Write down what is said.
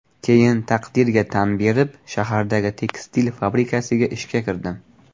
Keyin taqdirga tan berib, shahardagi tekstil fabrikasiga ishga kirdim.